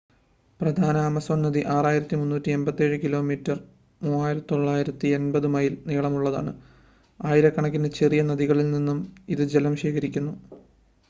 പ്രധാന ആമസോൺ നദി 6,387 kilometre 3,980 mile നീളമുള്ളതാണ്. ആയിരക്കണക്കിന് ചെറിയ നദികളിൽ നിന്ന് ഇത് ജലം ശേഖരിക്കുന്നു